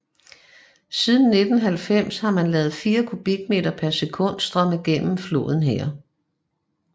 Siden 1990 har man ladet 4 kubikmeter per sekund strømme gennem floden her